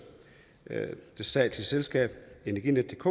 det statslige selskab energinetdk